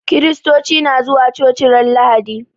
Kiristoci na zuwa coci ran lahadi